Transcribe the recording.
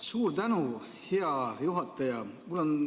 Suur tänu, hea juhataja!